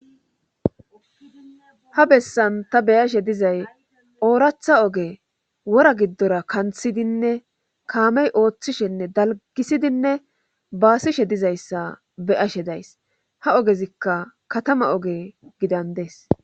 ha bessan ta beyashe dizay ooratha oge wora giddora kanthidinne kaamey ooththishenne dalgisidinne baasishe dizayssa beyashe days ha ogezikka katama oge gidandees